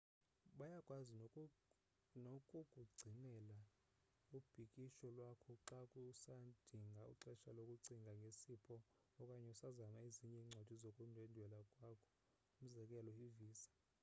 bayakwazi nokukugcinela ibhukisho lwakho xa usadinga ixesha lokucinga ngesipho okanye usazama ezinye incwadi zokundwendwela kwakho umzekelo ivisa